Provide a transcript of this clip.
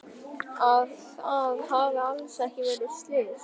Að það hafi alls ekki verið slys.